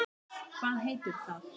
Hvað heitir það?